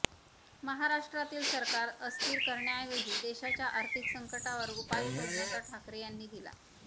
महाराष्ट्रातील सरकार अस्थिर करण्याऐजवी देशाच्या आर्थिक संकटावर उपाय शोधण्याचा ठाकरे यांनी दिला